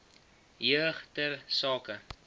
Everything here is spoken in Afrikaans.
jeug ter sake